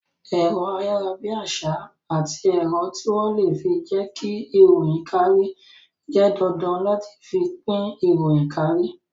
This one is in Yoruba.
Ẹ̀rọ ayarabiasa àti ẹ̀rọ tí wón le fi jẹ ki ìròyìn kárí jẹ́ dandan láti fi pín ìròyìn kárí